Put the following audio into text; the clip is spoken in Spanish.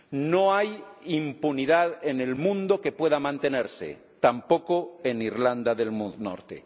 No hay impunidad en el mundo que pueda mantenerse ―tampoco en Irlanda del Norte―.